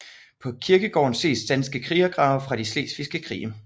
På kirkegården ses danske krigergrave fra de slesvigske krige